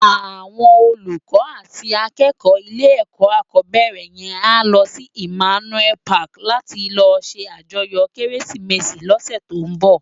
Áwòn ólúkò àti ákèkò ilé èkò ákòbèrè yèn á lò si Immanuel pàki làti lò sé àjòyò Kérésimési lòsè tó n bò